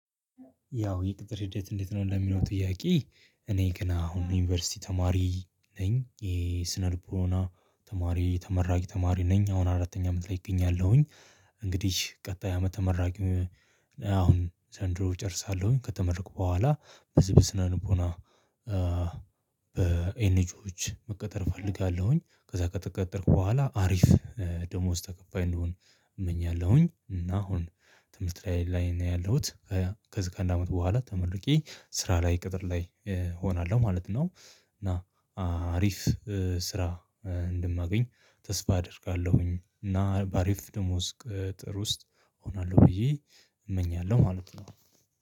ያው የቅጥር ሂደት እንዴት ነው ለሚለው ጥያቄ እኔ ግን አሁን ዩኒቨርሲቲ ተማሪ ነኝ ይሄ ስነ ልቦና ተማሪ ተመራቂ ተማሪ ነኝ አሁን አራተኛ አመት ላይ እገኛለሁኝ። እንግዲህ ቀጣይ አመት ተመራቂ አሁን ዘንድሮ እጨርሳለሁኝ ከተመረኩ በኋላ በዚህ በስነ ልቦና በኤንጂኦዎች መቀጠር እፈልጋለሁኝ። ከዛ ከተቀጠርኩ በኋላ ሀሪፍ ደሞዝ ተከፋይ እንደሆን እመኛለሁኝ። እና አሁን ትምህርት ላይ ነው ያለሁት ከዚህ ጋር አንድ አመት በኋላ ተመርቄ ስራ ላይ ቅጥር ላይ እሆናለሁ ማለት ነው። እና ሀሪፍ ስራ እንደማገኝ ተስፋ አደርጋለሁኝ። እና በሀሪፍ ደሞዝ ቅጥር ውስጥ እሆናለሁ ብዬ እመኛለሁ ማለት ነው